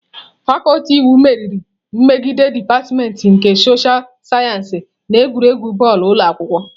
Fakuti iwu meriri megide dipatịmentị nke soshal sayensị na egwuregwu bọọlụ ụlọ akwụkwọ.